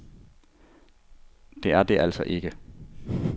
Det er det altså ikke.